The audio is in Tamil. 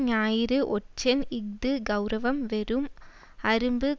ஞாயிறு ஒற்றன் இஃது கெளரவம் வெறும் அரும்பு